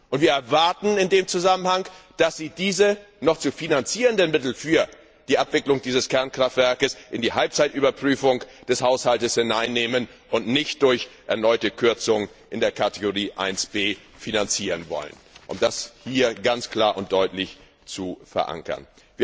Und wir erwarten in dem Zusammenhang, dass Sie diese noch zu finanzierenden Mittel für die Abwicklung dieses Kernkraftwerkes in die Halbzeitüberprüfung des Haushalts hineinnehmen und nicht durch erneute Kürzung in der Kategorie 1 B finanzieren wollen, und das ist hier ganz klar und deutlich zu verankern.